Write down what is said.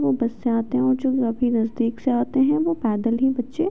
वो बस से आते है और जो काफी नजदीक से आते है वो पैदल ही बच्चे --